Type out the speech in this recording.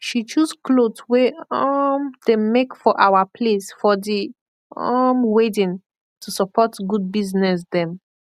she choose kloth wey um dem make for awa place for di um wedding to support good bizness dem